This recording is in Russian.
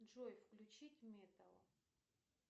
джой включить металл